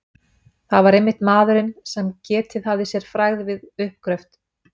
Það var einmitt maðurinn, sem getið hafði sér frægð við uppgröft